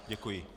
Děkuji.